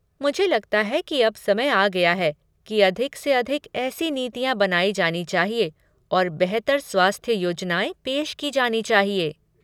मुझे लगता है कि अब समय आ गया है कि अधिक से अधिक ऐसी नीतियाँ बनाई जानी चाहिए और बेहतर स्वास्थ्य योजनाएँ पेश की जानी चाहिए।